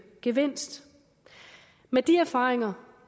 gevinst med de erfaringer